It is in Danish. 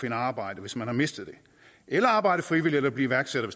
et arbejde hvis man har mistet det eller arbejde frivilligt eller blive iværksætter